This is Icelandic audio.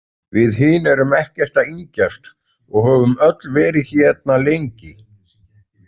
Við hin erum ekkert að yngjast og höfum öll verið hérna lengi.